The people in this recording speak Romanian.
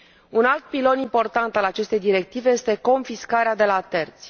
Un alt pilon important al acestei directive este confiscarea de la terți.